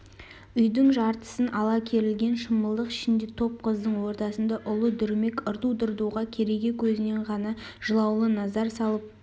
үйдің жартысын ала керілген шымылдык ішінде топ қыздың ортасында ұлы дүрмек ырду-дырдуға кереге көзінен ғана жылаулы назар салып